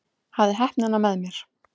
Hafði heppnina með mér